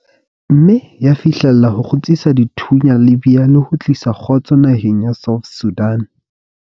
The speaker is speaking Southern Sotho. Mme ya fihlella ho kgutsisa dithunya Libya le ho tlisa kgotso naheng ya South Sudan.